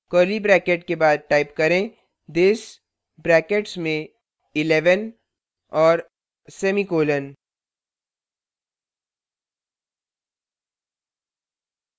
curly brackets के बाद type करें this brackets में 11 और semicolon